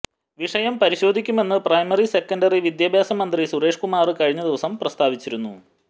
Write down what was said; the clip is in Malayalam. വിഷയം പരിശോധിക്കുമെന്ന് പ്രൈമറി സെക്കന്ഡറി വിദ്യാഭ്യാസ മന്ത്രി സുരേഷ് കുമാര് കഴിഞ്ഞ ദിവസം പ്രസ്താവിച്ചിരുന്നു